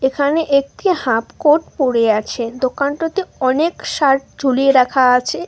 এখানে একটি হাফকট পড়ে আছে দোকানটাতে অনেক শার্ট ঝুলিয়ে রাখা আছে।